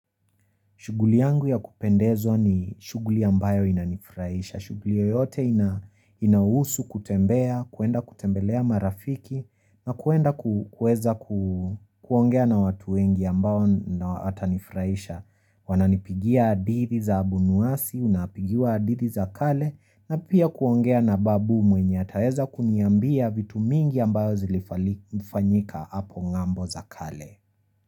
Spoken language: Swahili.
Shuguli yangu ya kupendezo ni shuguli ambayo inanifraisha. Shuguli yoyote inahusu kutembea, kuenda kutembelea marafiki na kuenda kuweza kuongea na watu wengi ambao watanifraisha. Wananipigia adithi za abunuasi, unapigia adithi za kale na pia kuongea na babu mwenye ataeza kuniambia vitu mingi ambayo zilifanyika hapo ngambo za kale.